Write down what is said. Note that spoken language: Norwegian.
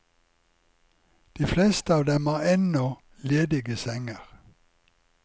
De fleste av dem har ennå ledige senger.